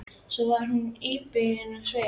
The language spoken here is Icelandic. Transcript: Svo varð hún íbyggin á svip.